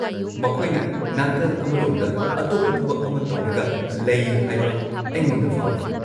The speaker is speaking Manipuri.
ꯃꯈꯣꯏꯅ ꯅꯥꯀꯜ ꯑꯃꯔꯣꯝꯗ ꯑꯇꯣꯞꯄ ꯊꯕꯛ ꯑꯃ ꯇꯧꯔꯒ ꯂꯩ ꯍꯥꯏꯕ ꯑꯩꯉꯣꯟꯗ ꯐꯥꯎꯏ꯫